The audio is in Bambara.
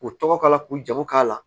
K'u tɔgɔ k'a la k'u jago k'a la